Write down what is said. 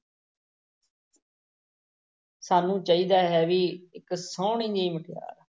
ਸਾਨੂੰ ਚਾਹੀਦਾ ਹੈ ਬਈ ਇੱਕ ਸੋਹਣੀ ਜਿਹੀ ਮੁਟਿਆਰ